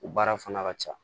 O baara fana ka ca